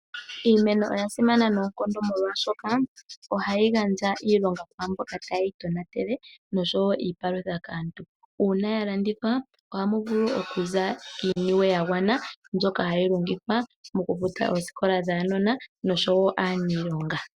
Iimeno oya simana nonkondo molwashoka ohayi gandja iilonga kwa mboka taye yi tona tele noshowo iipalutha kaantu. Una ya landithwa ohamu vulu oku za iiniwe ya gwana mbyoka hayi longithwa moku futa ooskola dhunona oshowo oku futa aanilonga.